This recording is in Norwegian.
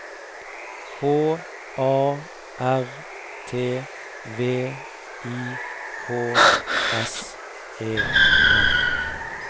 H A R T V I K S E N